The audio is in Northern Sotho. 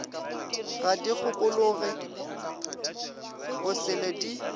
ga di kgokologe bosele di